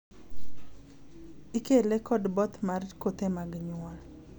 ikele kod both mar kothe mag nyuol